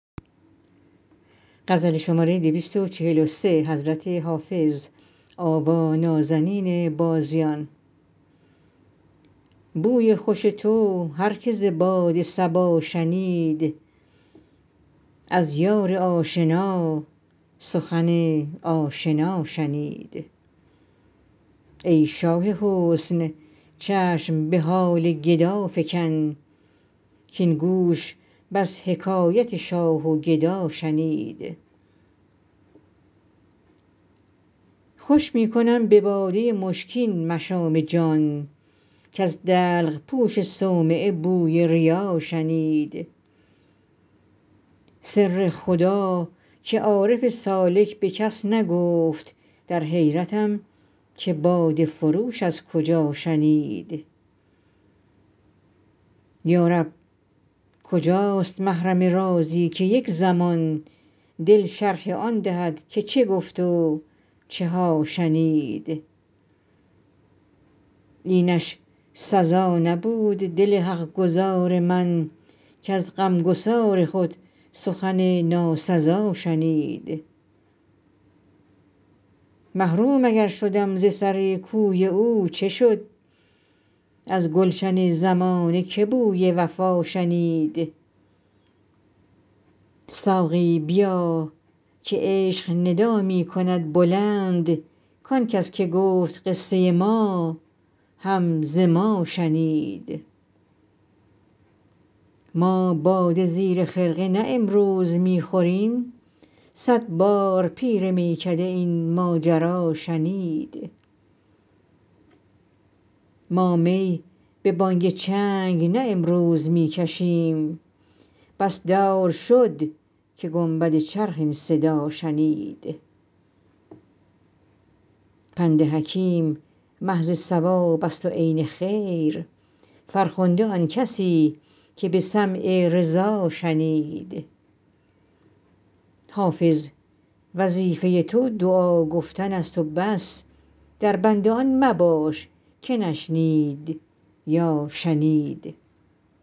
بوی خوش تو هر که ز باد صبا شنید از یار آشنا سخن آشنا شنید ای شاه حسن چشم به حال گدا فکن کـاین گوش بس حکایت شاه و گدا شنید خوش می کنم به باده مشکین مشام جان کز دلق پوش صومعه بوی ریا شنید سر خدا که عارف سالک به کس نگفت در حیرتم که باده فروش از کجا شنید یا رب کجاست محرم رازی که یک زمان دل شرح آن دهد که چه گفت و چه ها شنید اینش سزا نبود دل حق گزار من کز غمگسار خود سخن ناسزا شنید محروم اگر شدم ز سر کوی او چه شد از گلشن زمانه که بوی وفا شنید ساقی بیا که عشق ندا می کند بلند کان کس که گفت قصه ما هم ز ما شنید ما باده زیر خرقه نه امروز می خوریم صد بار پیر میکده این ماجرا شنید ما می به بانگ چنگ نه امروز می کشیم بس دور شد که گنبد چرخ این صدا شنید پند حکیم محض صواب است و عین خیر فرخنده آن کسی که به سمع رضا شنید حافظ وظیفه تو دعا گفتن است و بس در بند آن مباش که نشنید یا شنید